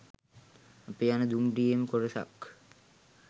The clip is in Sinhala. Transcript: අපි යන දුම්රියේම කොටසක්